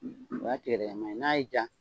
O y'a tigɛdɛgɛ nan ye . N'a y'i ja